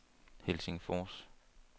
Helsingfors